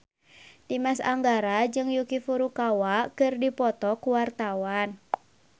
Dimas Anggara jeung Yuki Furukawa keur dipoto ku wartawan